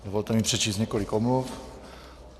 Dovolte mi přečíst několik omluv.